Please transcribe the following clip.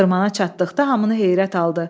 Xırmana çatdıqda hamını heyrət aldı.